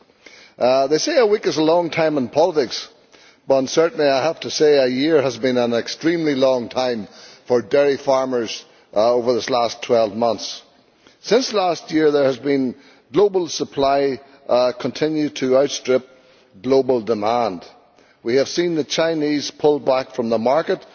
They say that a week is a long time in politics, but certainly I have to say that a year has been an extremely long time for dairy farmers over this last 12 months. Since last year, global supply has continued to outstrip global demand. We have seen the Chinese pull back from the market